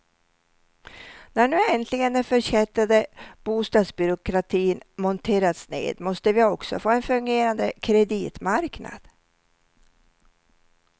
När nu äntligen den förkättrade bostadsbyråkratin monterats ned måste vi också få en fungerande kreditmarknad.